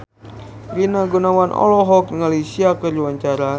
Rina Gunawan olohok ningali Sia keur diwawancara